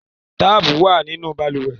Táàpù wà nínú balùwẹ̀.